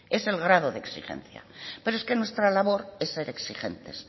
es el grado de exigencia pero es que nuestra labor es ser exigentes